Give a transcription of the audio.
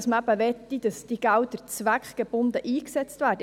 Denn man möchte, dass die Gelder zweckgebunden eingesetzt werden.